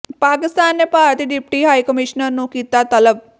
ਪਾਕਿਸਤਾਨ ਨੇ ਭਾਰਤੀ deputy high commissioner ਨੂੰ ਕੀਤਾ ਤਲਬ